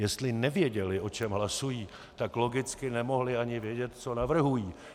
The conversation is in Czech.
Jestli nevěděli, o čem hlasují, tak logicky nemohli ani vědět, co navrhují.